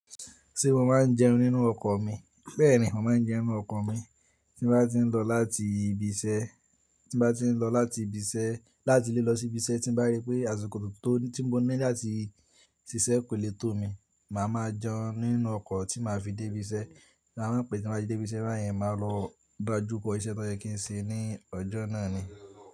Ṣé mo máa ń jẹun nínú ọkọ̀ mi? Bẹ́ẹ̀ni, mo máa ń jẹun nínú ọkọ̀ mi. Tí mo bá ti ń lọ láti ibi iṣẹ́, tí mo bá ti ń lọ láti ibi iṣẹ́, láti ilé lọ sí ibi iṣẹ́, tí mo bá rí pé àsìkò tó tí mo ní láti ṣiṣẹ́ kò lè tó mi, màá máa jẹun nínú ọkọ̀ tí màá fi dé ibi iṣẹ́. Bí a bá pè tí mo bá dé ibi iṣẹ́ báyìí, màá lọ dájú kọ́ iṣẹ́ tó jẹ́ kí n ṣe ní ọjọ́ náà ni.